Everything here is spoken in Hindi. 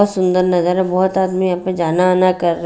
बहुत सुंदर नजारा बहुत आदमी यहाँ पे जाना आना कर रहे--।